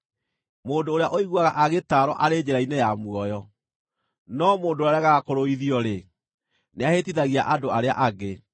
Mũndũ ũrĩa ũiguaga agĩtaarwo arĩ njĩra-inĩ ya muoyo, no mũndũ ũrĩa ũregaga kũrũithio-rĩ, nĩahĩtithagia andũ arĩa angĩ.